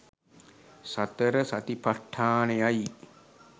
සතර සතිපට්ඨානයයි